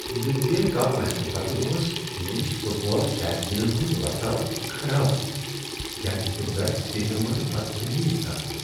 European cup میچہٕ پتہٕ اوس انگلش فٹ بال شائقینن ہنٛد ورتاو خراب تکیاز تِم درایِہ سٹیڈیم منٛز بدتمیزی سان۔